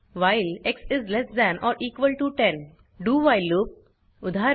while dowhile loop उदाहरण